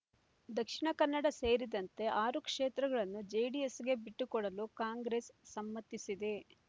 ದಕ್ಷಿಣ ಕನ್ನಡ ಸೇರಿದಂತೆ ಆರು ಕ್ಷೇತ್ರಗಳನ್ನು ಜೆಡಿಎಸ್‌ಗೆ ಬಿಟ್ಟುಕೊಡಲು ಕಾಂಗ್ರೆಸ್ ಸಮ್ಮತಿಸಿದೆ